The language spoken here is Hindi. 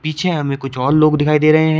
पीछे हमें कुछ और लोग दिखाई दे रहे हैं।